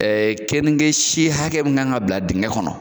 Ɛɛ kenike si hakɛ mun kan ka bila dingɛ kɔnɔ